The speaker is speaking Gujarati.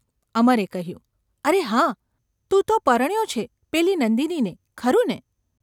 ’ અમરે કહ્યું. ‘અરે હા ! તું તો પરણ્યો છે પેલી નંદિનીને, ખરું ને?